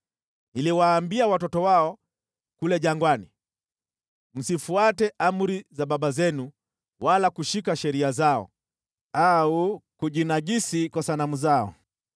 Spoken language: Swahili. Niliwaambia watoto wao kule jangwani, “Msifuate amri za baba zenu wala kushika sheria zao au kujinajisi kwa sanamu zao.